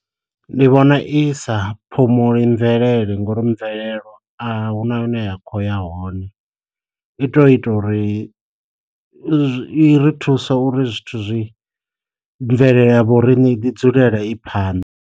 Ndi vhona i sa phumuli mvelele ngori mvelelo a hu na hune ya khou ya hone, i tou ita uri i ri thusa uri zwithu zwi mvelele ya vho rine i ḓi dzulela i phanḓa.